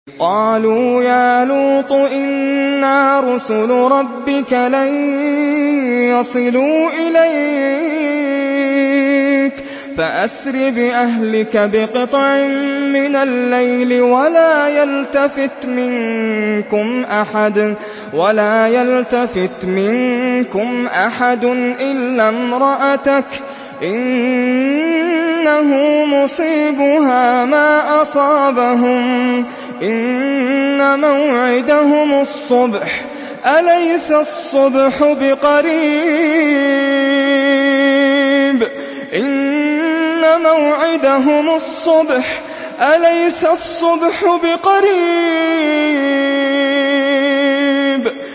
قَالُوا يَا لُوطُ إِنَّا رُسُلُ رَبِّكَ لَن يَصِلُوا إِلَيْكَ ۖ فَأَسْرِ بِأَهْلِكَ بِقِطْعٍ مِّنَ اللَّيْلِ وَلَا يَلْتَفِتْ مِنكُمْ أَحَدٌ إِلَّا امْرَأَتَكَ ۖ إِنَّهُ مُصِيبُهَا مَا أَصَابَهُمْ ۚ إِنَّ مَوْعِدَهُمُ الصُّبْحُ ۚ أَلَيْسَ الصُّبْحُ بِقَرِيبٍ